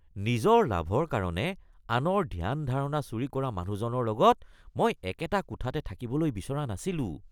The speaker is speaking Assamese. নিজৰ লাভৰ কাৰণে আনৰ ধ্যান-ধাৰণা চুৰি কৰা মানুহজনৰ লগত মই একেটা কোঠাতে থাকিবলৈ বিচৰা নাছিলোঁ।